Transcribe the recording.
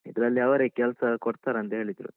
ಇದ್ರಲ್ಲಿ ಅವರೇ ಕೆಲ್ಸ ಕೊಡ್ತಾರಂತ ಹೇಳಿದ್ರು.